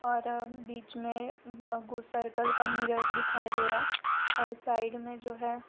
और बीच में कुछ सर्किल का मिरर दिखाई दे रहा है और साइड में जो है।